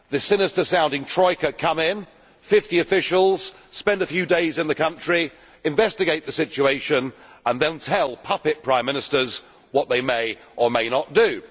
The sinister sounding troika come in, 50 officials spend a few days in the country, investigate the situation and then tell puppet prime ministers what they may or may not do.